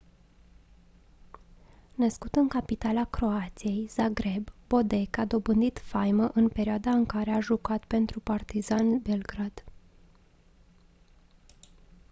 născut în capitala croației zagreb bodek a dobândit faimă în perioada în care a jucat pentru partizan belgrad